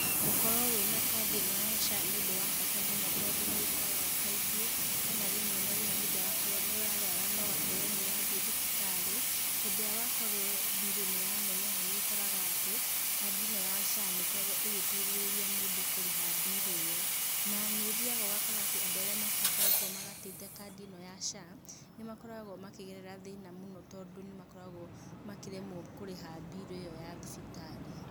Gũkorwo wĩna kandi ĩno ya SHA nĩũndũ wa bata mũno tondũ nĩũkoraga kaingĩ kana rĩmwe na rĩmwe rĩrĩa wakorwo nĩũrarwara na ũgakorwo nĩũrathie thibitarĩ, hĩndĩ ĩrĩa wakorwo mbiru nĩyaneneha nĩũkoraga atĩ kandi ĩno ya SHA nĩkoragwo ĩgĩteithĩrĩria mũndũ kũriha mbiru ĩyo. Na nĩũthiyaga ũgakora atĩ andũ arĩa matakoretwo magatĩte kandi ĩno ya SHA nĩmakoragwo makĩgerera thĩna mũno tondũ nĩmakoragwo makĩremwo kũrĩha mbiru ĩo ya thibitarĩ.